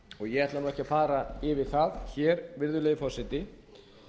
ég ætla ekki að fara yfir það hér virðulegi forseti